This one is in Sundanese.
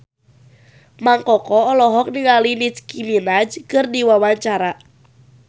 Mang Koko olohok ningali Nicky Minaj keur diwawancara